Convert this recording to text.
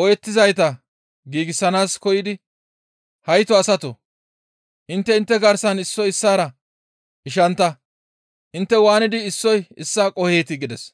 ooyettizayta giigsanaas koyidi, ‹Hayto asatoo! Intte intte garsan issoy issaara ishantta; intte waanidi issoy issaa qoheetii?› gides.